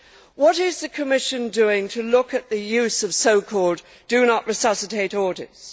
What is the Commission doing to look at the use of so called Do Not Resuscitate orders?